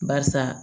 Barisa